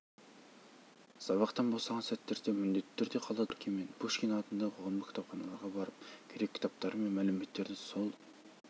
сабақтан босаған сәттерде міндетті түрде қаладағы горкий және пушкин атындағы қоғамдық кітапханаларға барып керек кітаптары мен мәліметтерді сол